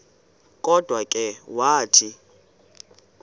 kodwa ke wathi